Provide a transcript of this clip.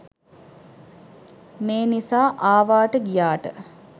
මේ නිසා ආවාට ගියාට